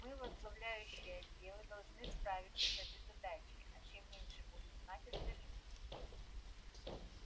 мы возглавляющие отделы должны справиться с этой задачей а чем меньше будут знать остальные